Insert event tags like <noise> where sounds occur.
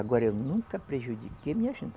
Agora eu nunca prejudiquei <unintelligible>